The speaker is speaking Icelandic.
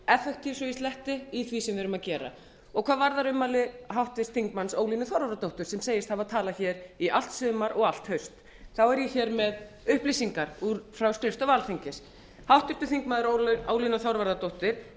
effentiv svo ég sletti í því sem við erum að gera hvað varðar ummæli háttvirts þingmanns ólínu þorvarðardóttur sem segist hafa talað í allt sumar og allt haust þá er ég með upplýsingar frá skrifstofu alþingis háttvirtur þingmaður ólína þorvarðardóttir